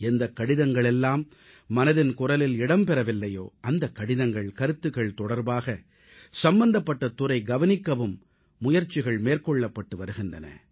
எந்தக் கடிதங்கள் எல்லாம் மனதின் குரலில் இடம் பெறவில்லையோ அந்தக் கடிதங்கள் கருத்துகள் தொடர்பாக சம்பந்தப்பட்ட துறை கவனிக்கவும் முயற்சிகள் மேற்கொள்ளப்பட்டு வருகின்றன